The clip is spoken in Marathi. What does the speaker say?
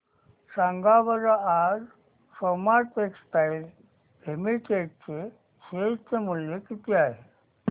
सांगा बरं आज सोमा टेक्सटाइल लिमिटेड चे शेअर चे मूल्य किती आहे